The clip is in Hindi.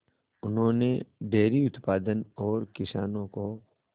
उन्होंने डेयरी उत्पादन और किसानों को